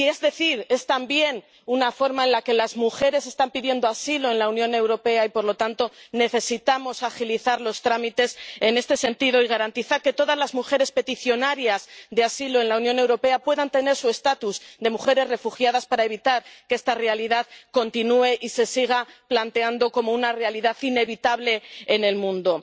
Y es también una razón por la que las mujeres están pidiendo asilo en la Unión Europea y por lo tanto necesitamos agilizar los trámites en este sentido y garantizar que todas las mujeres peticionarias de asilo en la Unión Europea puedan tener su estatus de mujeres refugiadas para evitar que esta realidad continúe y se siga planteando como una realidad inevitable en el mundo.